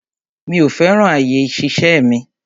Mi ò fẹ́ràn àyè ìṣiṣẹ́ mi.